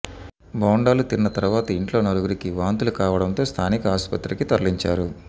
బోండాలు తిన్న తరువాత ఇంట్లో నలుగురికి వాంతులు కావడంతో స్థానిక ఆస్పత్రికి తరలించారు